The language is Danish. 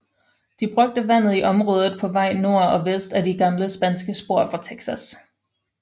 De brugte vandet i området på vej nord og vest ad de gamle spanske spor fra Texas